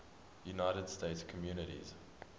united states communities